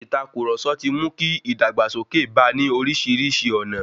Ìtàkurọ̀sọ ti mu ki ìdàgbàsókè bá ní orísìírísìí ọ̀nà.